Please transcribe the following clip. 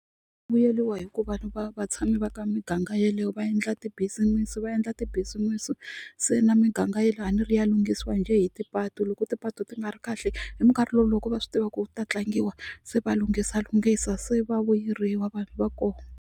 Vuyeliwa hi ku vanhu va vatshami va ka miganga yeleyo va endla ti-business va endla ti-business se na miganga yeleye a ni ri ya lunghisiwa njhe hi tipatu loko tipatu ti nga ri kahle hi minkarhi lowu loko va swi tiva ku ta tlangiwa se va lunghisa lunghisa se va vuyeriwa vanhu va koho.